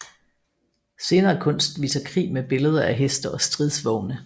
Senere kunst viser krig med billeder af heste og stridsvogne